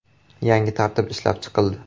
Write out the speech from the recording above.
“Yangi tartib ishlab chiqildi.